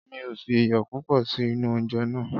Mi ò fi iyò púpọ̀ sí inú oúnje náà.